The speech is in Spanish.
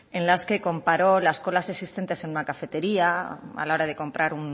en las que comparó las colas existentes en una cafetería a la hora de comprar